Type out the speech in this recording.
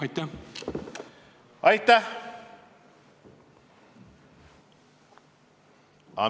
Aitäh!